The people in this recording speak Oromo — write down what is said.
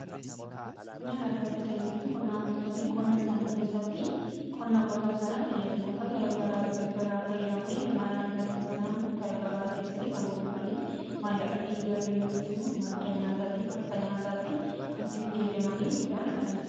Midhaan argamsiisan jechuun qonnaan bultoonni qonna isanii keessatti qonna qotan sana tajaajilota garagaraa fayyadamanii midhaan argatan sana gabaa geessanii kan gurguranii maallaqatti jijjirratan yookis immoo madda nyaataatiif akka nyaataatti kanitti fayyadaman midhaan argamsiisaa jedhama.